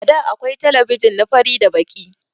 àda akwai telebijin na fari da Baki.